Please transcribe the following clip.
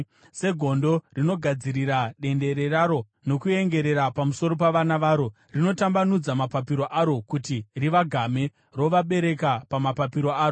segondo rinogadziridza dendere raro nokuengerera pamusoro pavana varo, rinotambanudza mapapiro aro kuti rivagamhe, rovabereka pamapapiro aro.